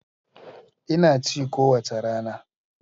Ina ci kowace rana.